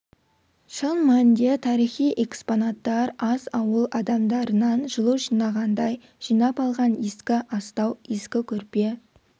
шын мәнінде тарихи экспонаттар аз ауыл адамдарынан жылу жинағандай жинап алған ескі астау ескі көрпе